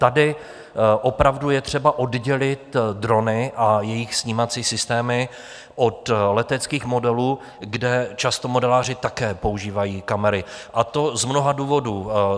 Tady opravdu je třeba oddělit drony a jejich snímací systémy od leteckých modelů, kde často modeláři také používají kamery, a to z mnoha důvodů.